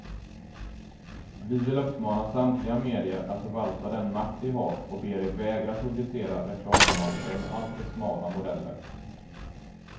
Vi vill uppmana samtliga medier att förvalta den makt de har, och ber er vägra publicera reklamannonser med alltför smala modeller.